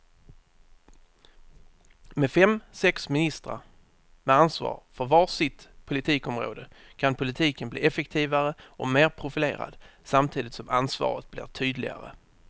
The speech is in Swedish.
Med fem, sex ministrar med ansvar för var sitt stort politikområde kan politiken bli effektivare och mer profilerad samtidigt som ansvaret blir tydligare.